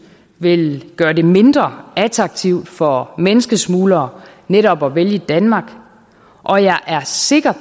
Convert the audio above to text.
vil gøre det mindre attraktivt for menneskesmuglere netop at vælge danmark og jeg er sikker